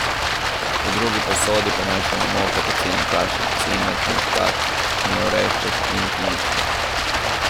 V drugi posodi pomešamo moko, pecilni prašek, cimet, muškatni orešček in klinčke.